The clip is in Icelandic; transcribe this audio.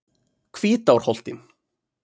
Hvítárholti